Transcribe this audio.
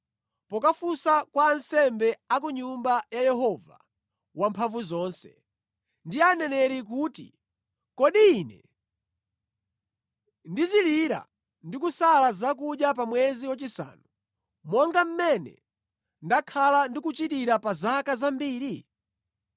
pokafunsa kwa ansembe a ku Nyumba ya Yehova Wamphamvuzonse ndi aneneri kuti, “Kodi ine ndizilira ndi kusala zakudya pa mwezi wachisanu, monga mmene ndakhala ndikuchitira pa zaka zambiri?”